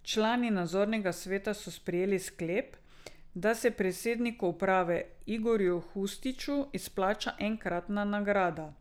Člani nadzornega sveta so sprejeli sklep, da se predsedniku uprave Igorju Hustiću izplača enkratna nagrada.